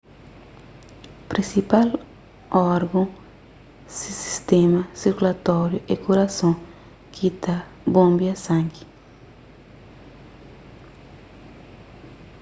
prinsipal orgon si sistéma sirkulatóriu é kurason ki ta bonbia sangi